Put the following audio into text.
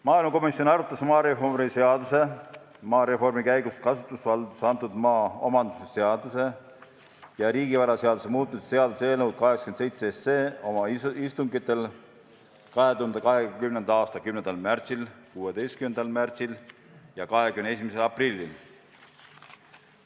Maaelukomisjon arutas maareformi seaduse, maareformi käigus kasutusvaldusesse antud maa omandamise seaduse ja riigivaraseaduse muutmise seaduse eelnõu 87 oma istungitel 2020. aasta 10. märtsil, 16. märtsil ja 21. aprillil.